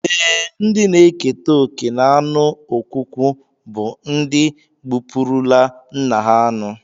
Ee, ndị na-eketa oké n'anụ ọkwụkwụ bụ ndị gbupụrụla nna ha anụ